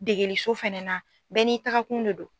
Degeliso fɛnɛ na bɛɛ n'i tagakun ne do.